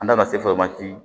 An da ka se